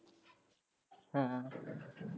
ਹਾਂ ਹਾਂ।